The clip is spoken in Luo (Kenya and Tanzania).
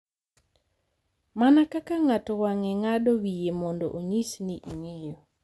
Mana kaka ng’ato wang’e, ng’ado wiye mondo onyis ni ing’eyo,